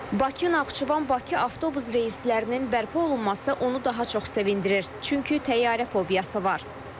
Bakı-Naxçıvan-Bakı avtobus reyslərinin bərpa olunması onu daha çox sevindirir, çünki təyyarə fobiyası var.